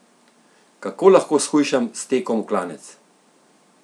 Kako lahko shujšam s tekom v klanec?